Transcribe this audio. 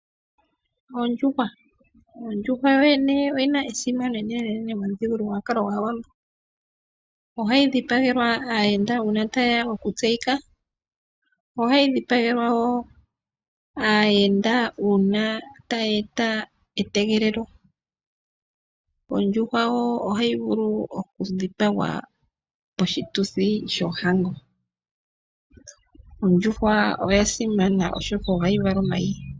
Ondjuhwa, Ondjuhwa yoyene oyina esimano enenenene momuthigululwa gwaawambo ohayidhipagelwa aayenda uuna tayeya okutseyika, ohayidhipagelwa woo aayenda uuna tayeeta etegelelo. Ondjuhwa ohayivulu okudhipagwa poshituthi shohango ondjuhwa oyasimana oshoka ohayi vala omayi.